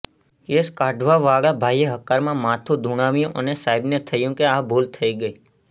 case કાઢવાવાળા ભાઈએ હકારમાં માથું ધુણાવ્યું અને સાહેબને થયું કે આ તો ભૂલ થઈ ગઈ